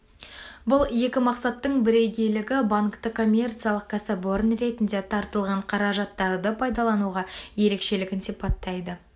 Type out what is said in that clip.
бұл екі мақсаттың бірегейлігі банкті коммерциялық кәсіпорын ретінде тартылған қаражаттарды пайдалануға ерекшелігін сипаттайды